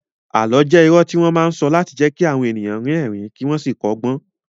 Àlọ́ jẹ́ irọ́ tí wọ́n máa ń sọ láti jẹ́ kí àwọn ènìyàn rín ẹ̀rín kí wọ́n sì kọ́gbọ́n